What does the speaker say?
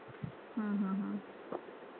हम्म हम्म